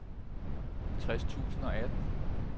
tres tusind og atten